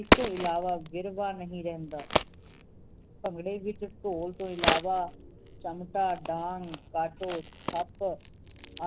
ਇਸ ਤੋਂ ਇਲਾਵਾ ਗਿਰਵਾ ਨਹੀ ਰਹਿੰਦਾ ਭੰਗੜੇ ਵਿਚ ਢੋਲ ਤੋਂ ਇਲਾਵਾ ਚਮਟਾ ਡੰਡ ਕਾਟੋ ਕੱਪ